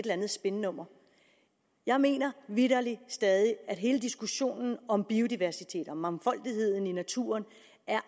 andet spinnummer jeg mener vitterlig stadig at hele diskussionen om biodiversitet og mangfoldighed i naturen